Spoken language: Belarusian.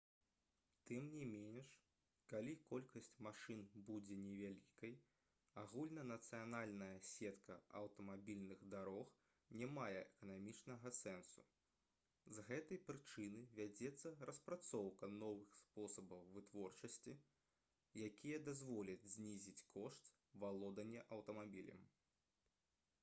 тым не менш калі колькасць машын будзе невялікай агульнанацыянальная сетка аўтамабільных дарог не мае эканамічнага сэнсу з гэтай прычыны вядзецца распрацоўка новых спосабаў вытворчасці якія дазволяць знізіць кошт валодання аўтамабілем